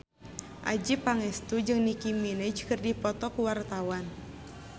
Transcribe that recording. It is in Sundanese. Adjie Pangestu jeung Nicky Minaj keur dipoto ku wartawan